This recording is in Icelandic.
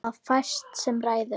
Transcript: Það er fæst sem ræður.